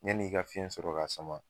Yani i ka fiɲɛ sɔrɔ ka sama